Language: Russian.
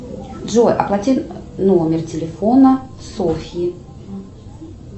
джой оплати номер телефона софьи